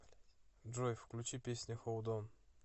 джой включи песня холд он